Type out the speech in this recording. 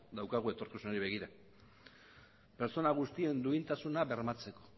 daukagu etorkizunari begira pertsona guztien duintasuna bermatzeko